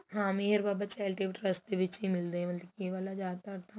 ਹਾਂ Meher Baba charitable trust ਵਿੱਚ ਮਿੱਲਦੇ ਮਤਲਬ ਕੀ ਇਹ ਵਾਲਾਂ ਜਿਆਦਾਤਰ ਤਾਂ